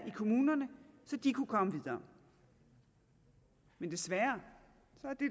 i kommunerne så de kunne komme videre men desværre